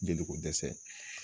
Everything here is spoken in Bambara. Jeliko dɛsɛ